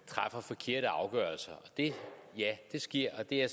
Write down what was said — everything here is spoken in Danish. træffer forkerte afgørelser og ja det sker og det er